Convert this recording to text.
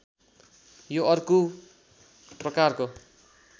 यो अर्को प्रकारको